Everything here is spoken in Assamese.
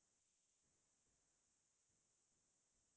আচলতে ফুৰিব গৈছিলো আমি